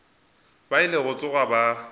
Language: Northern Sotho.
ba ile go tsoga ba